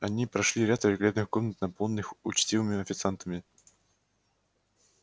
они прошли ряд великолепных комнат наполненных учтивыми официантами